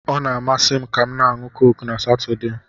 Ọ na-amasị m kam na-anu Coke na Satọde